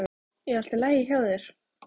Er allt í lagi hjá þér?